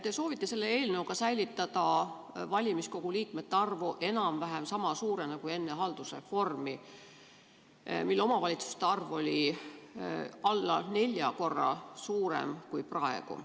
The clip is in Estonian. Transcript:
Te soovite selle eelnõuga säilitada valimiskogu liikmete arvu enam-vähem sama suurena kui enne haldusreformi, kui omavalitsuste arv oli peaaegu neli korda suurem kui praegu.